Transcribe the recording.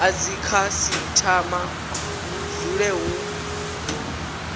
a dzikhasitama hu dzule hu